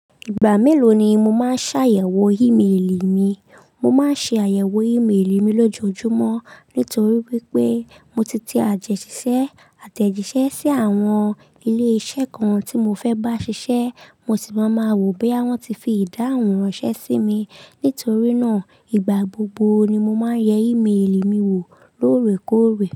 Ìgbà mélòó ni mo máa ṣàyẹ̀wò ímeèlì mi? Mo máa ń ṣe àyẹ̀wò ímeèlì mi lójoojúmọ́ nítorí wípé mo ti te àtẹ̀jíṣẹ́ sí àwọn ilé iṣẹ́ kan tí mo fẹ́ bá ṣiṣẹ́, mo sì máa máa wò bí wọ́n ti fi ìdáhùn ránṣẹ́ sí mi. Nítorí náà, ìgbà gbogbo ni mo máa ń yẹ ímeèlì mi wò lóòrèkóòrè.